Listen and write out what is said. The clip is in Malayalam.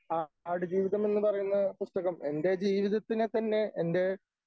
ആ ആടുജീവിതം എന്ന് പറയുന്ന പുസ്തകം എൻ്റെ ജീവിതത്തിനെ തന്നെ എൻ്റെ